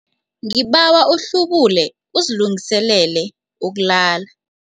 Ngibawa uhlubule uzilungiselele ukulala.